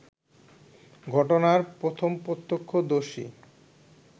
ঘটনার প্রথম প্রত্যক্ষদর্শী